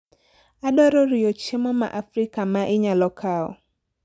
Adwaro oriyo chiemo ma Afrika ma inyalo kawo